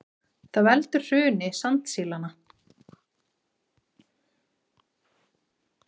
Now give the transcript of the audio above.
Merkilegur þjóðflokkur, Ísfirðingar!